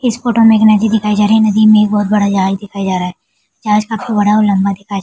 इस फोटो में एक नदी दिखाई जा रही है नदी में एक बहुत बड़ा जहाज दिखाया जा रहा है जहाज काफी बड़ा और लम्बा दिखाया --